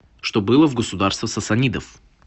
что было в государство сасанидов